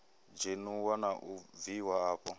dzheniwa na u bviwa afho